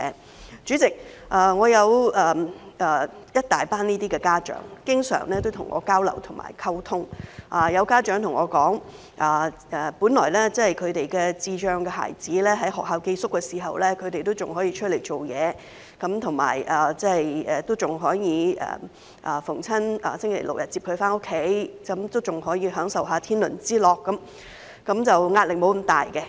代理主席，有一群這些家長經常跟我交流和溝通，有家長對我說，他們的智障孩子在學校寄宿時，他們仍可以出來工作，尚可每逢星期六、日接孩子回家享受天倫之樂，壓力沒有那麼大。